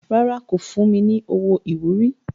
Rárá, kò fún mi ní owó ìwúrí.